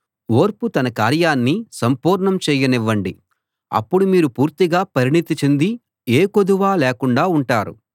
ఓర్పు తన కార్యాన్ని సంపూర్ణం చేయనివ్వండి అప్పుడు మీరు పూర్తిగా పరిణతి చెంది ఏ కొదువా లేకుండా ఉంటారు